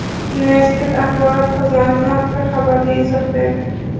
Universitet axborot xizmati mazkur xabarga izoh berdi .